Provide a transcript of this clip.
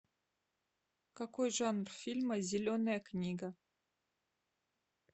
какой жанр фильма зеленая книга